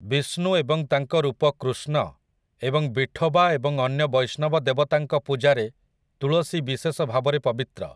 ବିଷ୍ଣୁ ଏବଂ ତାଙ୍କ ରୂପ କୃଷ୍ଣ ଏବଂ ବିଠୋବା ଏବଂ ଅନ୍ୟ ବୈଷ୍ଣବ ଦେବତାଙ୍କ ପୂଜାରେ ତୁଳସି ବିଶେଷ ଭାବରେ ପବିତ୍ର ।